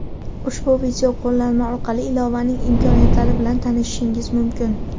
Ushbu video qo‘llanma orqali ilovaning imkoniyatlari bilan tanishishingiz mumkin.